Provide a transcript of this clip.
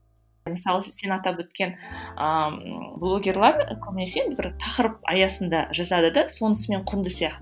мысалы осы сен атап өткен ыыы блогерлер көбінесе бір тақырып аясында жазады да сонысымен құнды сияқты